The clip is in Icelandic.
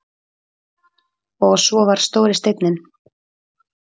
Og svo var stóri steinninn.